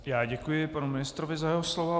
Já děkuji panu ministrovi za jeho slova.